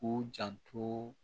K'u janto